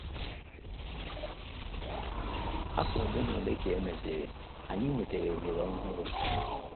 Afọ ole na ole ka e mesịrị, anyị nwetara ohere ọhụrụ.